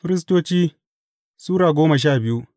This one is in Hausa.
Firistoci Sura goma sha biyu